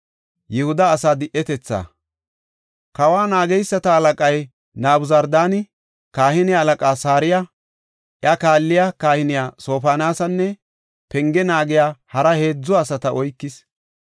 Kawa naageysata halaqay Nabuzardaani, kahine halaqaa Saraya, iya kaalliya kahiniya Sofoniyaasanne penge naagiya hara heedzu asata oykis.